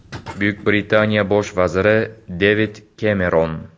Buyuk Britaniya bosh vaziri Devid Kemeron.